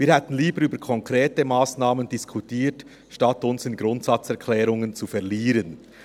Wir hätten lieber über konkrete Massnahmen diskutiert, als uns in Grundsatzerklärungen zu verlieren.